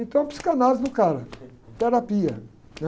Então, psicanálise no cara, terapia, né?